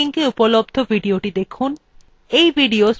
এই linkএ উপলব্ধ videothe দেখুন